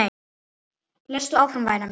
Lestu áfram væna mín!